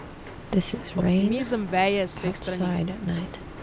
Optimizem veje z vseh strani.